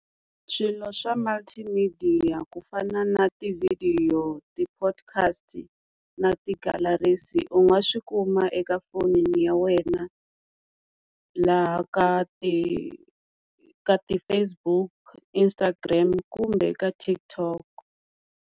Swilo swa multi midiya ku fana na tivhidiyo, ti-podcast na ti-galaxy u nga swi kuma eka fonini ya wena laha ka ti ka ti-Facebook, Instagram kumbe ka TikTok.